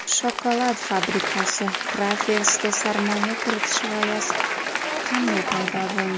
Shokolad fabrikasi [Crafers]ga sarmoya kiritish g‘oyasi qanday paydo bo‘ldi?